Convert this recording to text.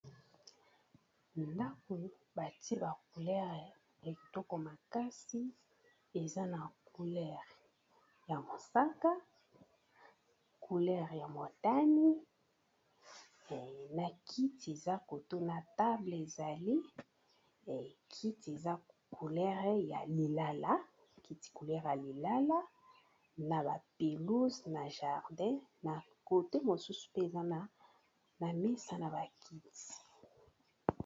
Ndako bati ba coulere ya kitoko makasi eza na coulere ya mosaka, coulere ya motani, na kiti eza kotuna table ezalikiti coulere ya lilala, na ba pelouze na jardin na kote mosusu mpe eza na mesa na bakiti.